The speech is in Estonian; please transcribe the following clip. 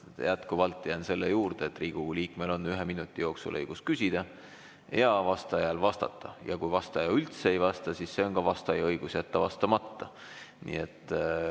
Jätkuvalt jään selle juurde, et Riigikogu liikmel on ühe minuti jooksul õigus küsida ja vastajal vastata, ning kui vastaja üldse ei vasta, siis see on vastaja õigus jätta vastamata.